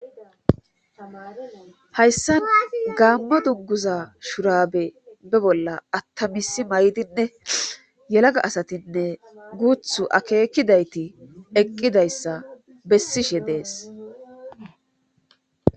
Hayssan gaammo dunguza shurabe be bolla attamisi maydinne yelaga asatinne guuthu akeekidayti eqqidayssa bessishe dees.